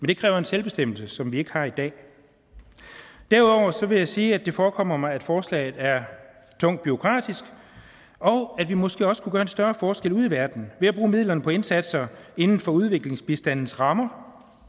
det kræver en selvbestemmelse som vi ikke har i dag derudover vil jeg sige at det forekommer mig at forslaget er tungt bureaukratisk og at vi måske også kunne gøre en større forskel ude i verden ved at bruge midlerne på indsatser inden for udviklingsbistandens rammer